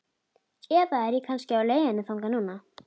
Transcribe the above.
Eða er ég kannski á leiðinni þangað núna?